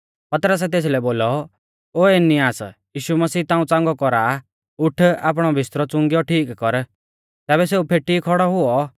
पतरसै तेसलै बोलौ ओ एनियास यीशु मसीह ताऊं च़ांगौ कौरा आ उठ आपणौ बिस्तरौ चुंगिऔ ठीक कर तैबै सेऊ फेटी खौड़ौ हुऔ